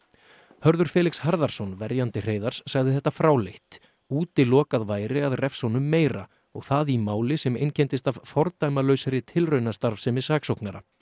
Hörður Felix Harðarson verjandi Hreiðars sagði þetta fráleitt útilokað væri að refsa honum meira og það í máli sem einkenndist af fordæmalausri tilraunastarfsemi saksóknara